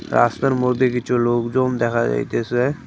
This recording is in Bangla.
রাস্তার মধ্যে কিছু লোকজন দেখা যাইতেছে।